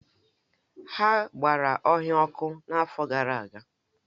Ha gbara ọhịa ọkụ n’afọ gara aga.